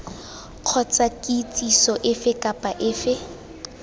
kgotsa kitsiso efe kapa efe